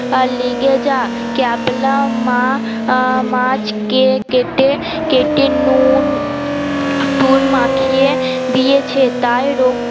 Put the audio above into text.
লেগে যা ক্যাবলা মা মাছ কে কেটে কেটে নুন টুন মাখিয়ে দিয়েছে তাই রোক